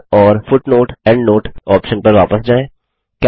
insert और footnoteएंडनोट option पर वापस जाएँ